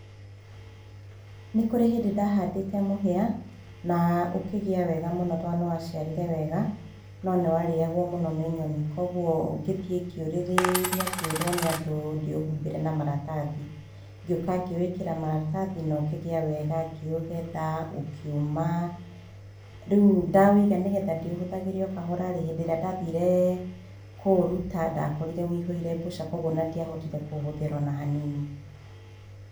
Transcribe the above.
Nĩ kũrĩ hĩndĩ ndahandĩte mũhĩa na ũkĩgĩa wega mũno tondũ nĩ waciarire wega tondũ nĩ warĩagwo mũno nĩ nyoni kwoguo ngĩthiĩĩ ngĩũrĩrĩria ngĩrwo nĩ andũ ndĩũhumbĩre na maratathi. Ngĩũka ngĩwĩkĩra maratathi na ũkĩgĩa wega ngĩũgetha ũkĩũma. Rĩu ndawũiga nĩgetha ndĩũhũthagĩre o kahora rĩ hĩndĩ ĩrĩa ndathire kũũruta ndakorire wũihũire mbũca kwoguo ona ndiahotire kũũhũthĩra ona hanini.